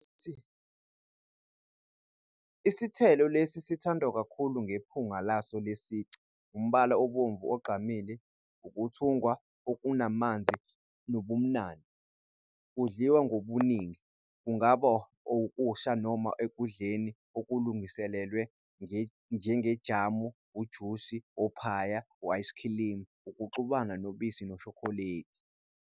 Isithelo lesi sithandwa kakhulu ngephunga laso lesici, umbala obomvu ogqamile, ukuthungwa okunamanzi nobumnandi. Kudliwa ngobuningi, kungaba okusha noma ekudleni okulungiselelwe njengejamu, ujusi, ophaya, u-ayisikhilimu, ukuxubana nobisi noshokoledi.